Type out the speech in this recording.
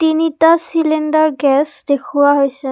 তিনিটা cylinder gas দেখুওৱা হৈছে।